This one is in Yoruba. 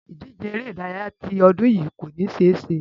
Ìdíje eré-ìdárayá ti ọdún yìí kò ní ṣe é ṣẹ.